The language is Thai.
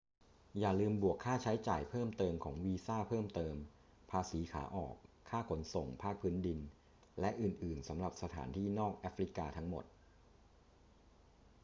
อย่าลืมบวกค่าใช้จ่ายเพิ่มเติมของวีซ่าเพิ่มเติม ภาษีขาออก ค่าขนส่งภาคพื้นดิน และอื่น ๆ สำหรับสถานที่นอกแอฟริกาทั้งหมด